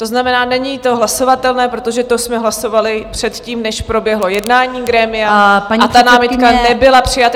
To znamená, není to hlasovatelné, protože to jsme hlasovali předtím, než proběhlo jednání grémia, a ta námitka nebyla přijata.